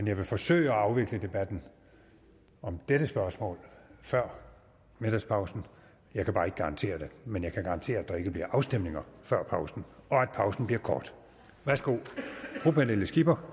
jeg vil forsøge at afvikle debatten om dette spørgsmål før middagspausen jeg kan bare ikke garantere det men jeg kan garantere at der ikke bliver afstemninger før pausen og at pausen bliver kort værsgo fru pernille skipper